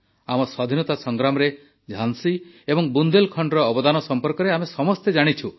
ଆମ ସ୍ୱାଧୀନତା ସଂଗ୍ରାମରେ ଝାନ୍ସୀ ଏବଂ ବୁନ୍ଦେଲଖଣ୍ଡର ଅବଦାନ ସମ୍ପର୍କରେ ଆମେ ସମସ୍ତେ ଜାଣିଛୁ